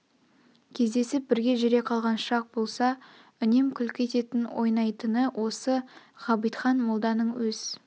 кездесп бірге жүре қалған шақ болса үнем күлкі ететін ойнайтыны осы ғабитхан молданың өз